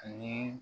Ani